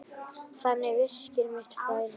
Þannig virkar mitt flæði.